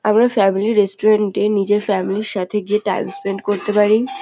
আমরা family restaurant -এ নিজের ফ্যামিলি -র সাথে গিয়ে টাইম স্পেন্ড করতে পারি।